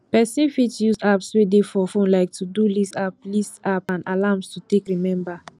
person fit use apps wey dey for phone like todo list app list app and alarms to take remember